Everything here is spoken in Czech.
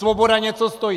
Svoboda něco stojí!